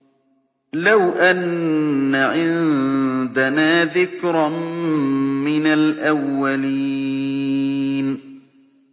لَوْ أَنَّ عِندَنَا ذِكْرًا مِّنَ الْأَوَّلِينَ